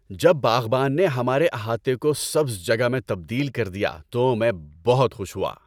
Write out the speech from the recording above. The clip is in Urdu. جب باغبان نے ہمارے احاطے کو سبز جگہ میں تبدیل کر دیا تو میں بہت خوش ہوا۔